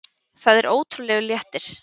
Það er ótrúlegur léttir.